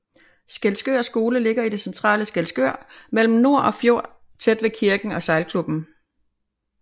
Skælskør Skole ligger i det centrale Skælskør mellem nor og fjord tæt ved kirken og sejlklubben